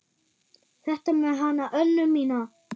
Þetta með hana Önnu mína.